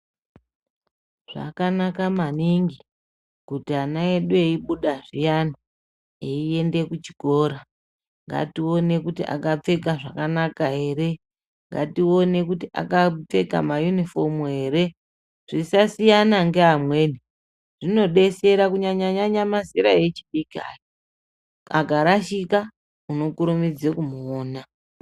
Zvakanaka maningi kuti ana edu eibuda zviyanai eienda kuchikora ngatione kuti akapfeka zvakanaka ere, ngatione kuti akapfeka mayunifomu here zvisasiyana ngeamweni, zvinodesera Kunyanyanyanya mazera echidiki aya. Akarashika unokurumidza kumuona.